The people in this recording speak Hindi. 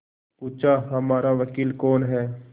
पूछाहमारा वकील कौन है